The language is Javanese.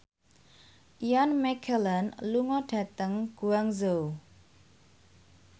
Ian McKellen lunga dhateng Guangzhou